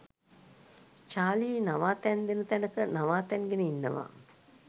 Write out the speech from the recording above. Charlie නවාතැන් දෙන තැනක නවාතැන් ගෙන ඉන්නවා.